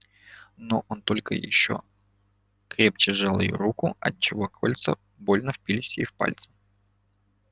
но он только ещё крепче сжал её руку отчего кольца больно впились ей в пальцы